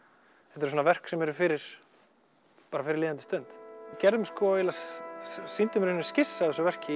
þetta er svona verk sem eru fyrir bara fyrir líðandi stund við sýndum í rauninni skissu af þessu verki